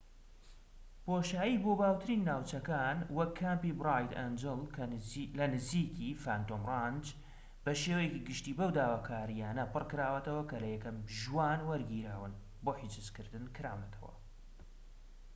بۆشایی بۆ باوترین ناوچەکان وەک کامپی برایت ئەنجڵ لە نزیکی فانتۆم ڕانچ بە شێوەیەکی گشتی بەو داواکاریانە پڕکراوەتەوە کە لە یەکەم ژوان وەرگیراون بۆ حجزکردن کراونەتەوە